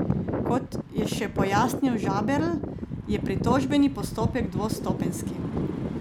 Kot je še pojasnil Žaberl, je pritožbeni postopek dvostopenjski.